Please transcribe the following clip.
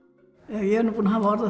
ég er búinn að hafa orð á